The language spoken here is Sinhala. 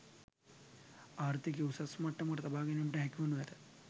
ආර්ථිකය උසස් මට්ටමක තබා ගැනීමට හැකිවනු ඇත.